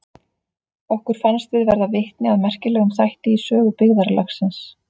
Okkur fannst við verða vitni að merkilegum þætti í sögu byggðarlagsins.